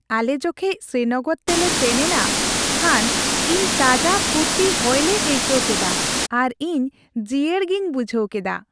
ᱟᱞᱮ ᱡᱚᱠᱷᱮᱡ ᱥᱨᱤᱱᱚᱜᱚᱨ ᱛᱮᱞᱮ ᱥᱮᱱ ᱮᱱᱟ ᱠᱷᱟᱱ ᱤᱧ ᱛᱟᱡᱟ ᱯᱷᱩᱨᱛᱤ ᱦᱚᱭᱞᱮ ᱟᱹᱭᱠᱟᱹᱣ ᱠᱮᱫᱟ ᱟᱨ ᱤᱧ ᱡᱤᱭᱟᱹᱲ ᱜᱮᱧ ᱵᱩᱡᱷᱟᱹᱣ ᱠᱮᱫᱟ ᱾